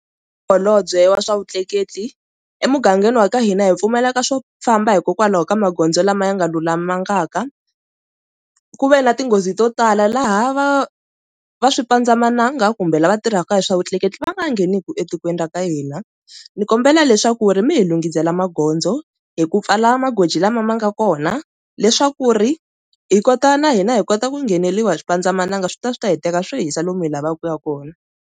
Holobye wa swa vutleketli emugangeni wa ka hina hi pfumaleka swo famba hikokwalaho ka magondzo lama ya nga lulamangaka ku ve na tinghozi to tala laha va va swipandzamananga kumbe lava tirhaka hi swa vutleketli va nga ngheneki etikweni ra ka hina, ndzi kombela leswaku ri mi hi lunghisela magondzo hi ku pfala magoji lama ma nga kona leswaku ri hi kota na hina hi kota ku ngheneliwa hi xipandzamananga swi ta swi ta hi teka swo hisa lomu hi lavaka ku ya ka kona.